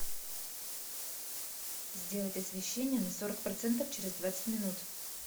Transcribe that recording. сделать освещение на сорок процентов через двадцать минут